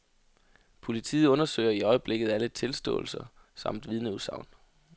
Politiet undersøger i øjeblikket alle tilståelser samt vidneudsagn.